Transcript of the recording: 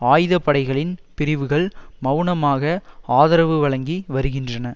ஆயுத படைகளின் பிரிவுகள் மெளனமாக ஆதரவு வழங்கி வருகின்றன